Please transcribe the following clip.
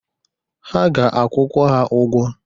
Ha ga-akwụkwa ha ụgwọ.